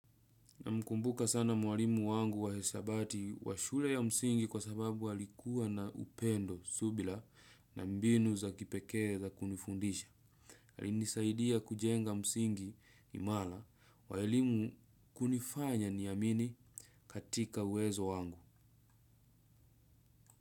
Namkumbuka sana mwalimu wangu wa hisabati wa shule ya msingi kwa sababu alikuwa na upendo subila na mbinu za kipekee za kunifundisha. Alinisaidia kujenga msingi imala wa elimu kunifanya niamini katika uwezo wangu.